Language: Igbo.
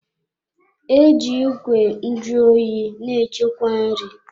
E ji Ìgwè nju oyi na-echekwa nri.